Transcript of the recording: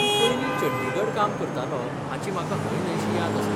तूं पयलीं चंडीगढ काम करतालो हाची म्हाका हयन्हयशी याद आसा.